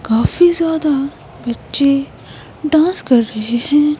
काफी ज्यादा बच्चे डांस कर रहे हैं।